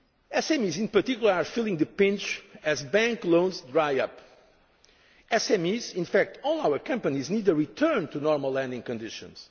of SMEs. SMEs in particular are feeling the pinch as bank loans dry up. SMEs, in fact all our companies, need a return to normal lending